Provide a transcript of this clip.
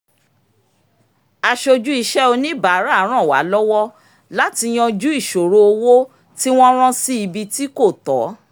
aṣojú iṣẹ́ oníbàárà ràn wá lọ́wọ́ láti yanju ìṣòro owó tí wọ́n rán sí ibi tí kò tọ̀